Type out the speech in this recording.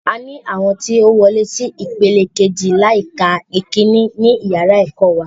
A ni àwọn tí ó wolé sí ìpele kejì láì ka ìkíní ní yàrá ẹ̀kọ́ wa